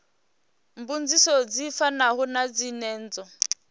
mbudziso dzi fanaho na dzenedzo